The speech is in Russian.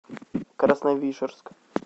красновишерск